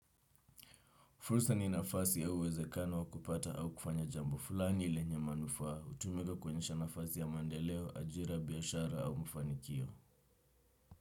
Fursa ni nafasi au uwezekano wa kupata au kufanya jambo fulani lenye manufaa hutumika kuonyesha nafasi ya mandeleo, ajira, biashara au mafanikio.